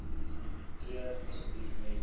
tree asseblief met